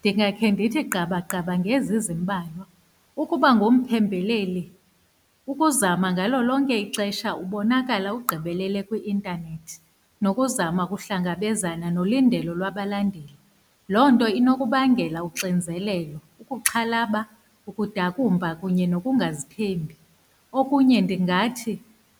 Ndingakhe ndithi gqabagqaba ngezi zimbalwa, ukuba ngumphembeleli, ukuzama ngalo lonke ixesha ubonakala ugqibele kwi-intanethi, nokuzama ukuhlangabezana nolindelo lwabalandeli. Loo nto inokubangela uxinzelelo, ukuxhalaba, ukudakumba kunye nokungazithembi, okunye ndingathi